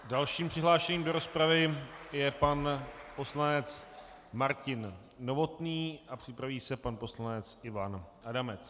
Dalším přihlášeným do rozpravy je pan poslanec Martin Novotný a připraví se pan poslanec Ivan Adamec.